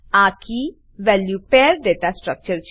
આ કે value pair દાતા સ્ટ્રકચર